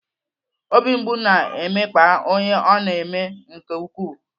Obi mgbu na-emekpa onye ọ na-eme nke ukwuu.